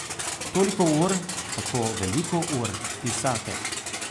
Toliko ur, tako veliko ur, pisatelj.